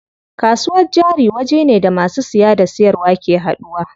Kasuwar jari wajene da masu siya da siyarwa ke haduwa.